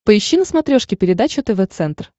поищи на смотрешке передачу тв центр